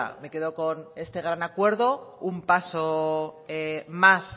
me quedo con este gran acuerdo un paso más